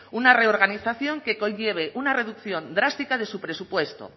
una reorganización que conlleve una reducción drástica de su presupuesto